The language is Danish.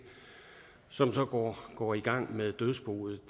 som så går i gang med dødsboet